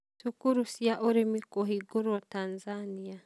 Cukuru cia Ũrĩmi Kũhingũrwo Tanzanĩa